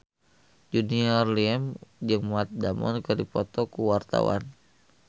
Junior Liem jeung Matt Damon keur dipoto ku wartawan